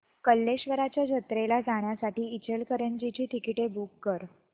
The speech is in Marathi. कल्लेश्वराच्या जत्रेला जाण्यासाठी इचलकरंजी ची तिकिटे बुक कर